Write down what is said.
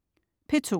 P2: